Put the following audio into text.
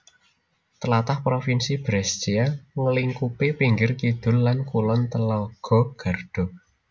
Tlatah Provinsi Brescia nglingkupi pinggir kidul lan kulon telaga Garda